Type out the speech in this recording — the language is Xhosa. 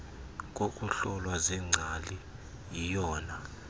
ngokuhlolwa ziingcali yiyona